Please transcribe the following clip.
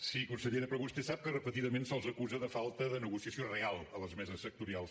sí consellera però vostè sap que repetidament se’ls acusa de falta de negociació real a les meses sectorials